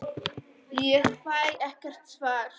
Ég fæ ekkert svar.